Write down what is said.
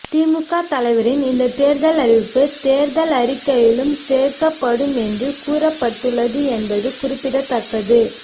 திமுக தலைவரின் இந்த அறிவிப்பு தேர்தல் அறிக்கையிலும் சேர்க்கப்படும் என்று கூறப்பட்டுள்ளது என்பது குறிப்பிடத்தக்கது